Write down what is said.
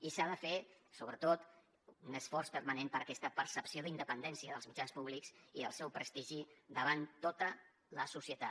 i s’ha de fer sobretot un esforç permanent per aquesta percepció d’independència dels mitjans públics i del seu prestigi davant tota la societat